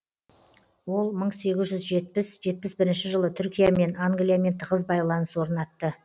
ол мың сегіз жүз жетпісінші жетпіс бірінші жылы түркиямен англиямен тығыз байланыс орнатты